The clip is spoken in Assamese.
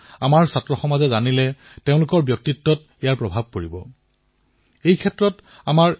এই কথাবোৰ আমাৰ বিদ্যাৰ্থীসকলে জানিবলৈ পালে তেওঁলোকৰ ব্যক্তিত্বতো ইয়াৰ প্ৰভাৱ পৰিব আৰু ইয়াৰ বাবে বহু কাম কৰিব পাৰি